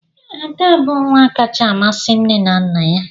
Ada bụ nwa kacha amasị nne na nna ya.